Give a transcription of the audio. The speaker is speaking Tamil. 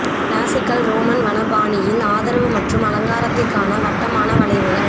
கிளாசிக்கல் ரோமன் வன பாணியில் ஆதரவு மற்றும் அலங்காரத்திற்கான வட்டமான வளைவுகள்